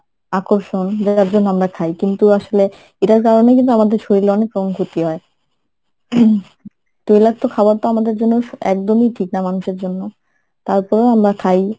আকর্ষণ যার জন্য আমরা খাই কিন্তু আসলে এটার কারণেই কিন্তু আমাদের শরীরে অনেকরকম ক্ষতি হয় ing তৈলাক্ত খাবারতো আমাদের জন্য একদম ই ঠিক না মানুষের জন্য তারপরো আমরা খাই।